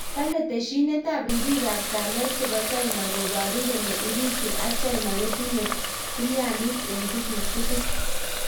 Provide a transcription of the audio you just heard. Kalee teshinet ap ripik ap kelyet chepoo china koparuu kolee Urusi ak china kotinye tilyandit eng tuguk tugul